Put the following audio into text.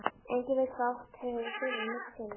Enginn veit hvað átt hefur fyrr en misst hefur.